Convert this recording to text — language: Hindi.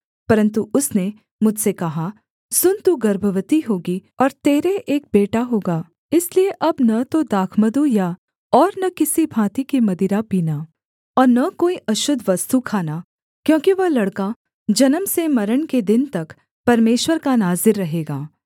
परन्तु उसने मुझसे कहा सुन तू गर्भवती होगी और तेरे एक बेटा होगा इसलिए अब न तो दाखमधु या और न किसी भाँति की मदिरा पीना और न कोई अशुद्ध वस्तु खाना क्योंकि वह लड़का जन्म से मरण के दिन तक परमेश्वर का नाज़ीर रहेगा